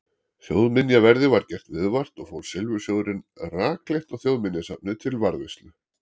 Þjóðminjaverði var gert viðvart og fór silfursjóðurinn rakleitt á Þjóðminjasafnið til varðveislu.